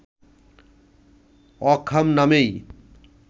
অকহাম নামেই